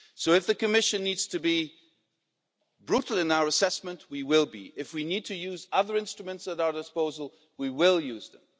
So, if the Commission needs to be brutal in our assessment we will be brutal. If we need to use other instruments at our disposal, we will use them.